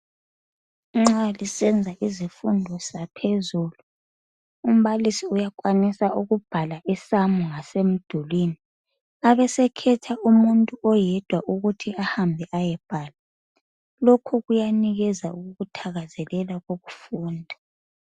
Nxa lisenza izifundo zaphezulu umbalisi uyakwanisa ukubhala isamu emdulwini abesekhetha umuntu oyedwa ukuthi ahambe ayebhala lokho kuyanika ukuthakazelela ukufunda.